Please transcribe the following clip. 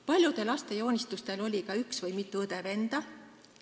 Paljude laste joonistusel oli ka üks või mitu õde-venda.